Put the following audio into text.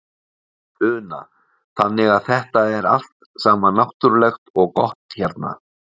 Una: Þannig að þetta er allt saman náttúrulegt og gott hérna?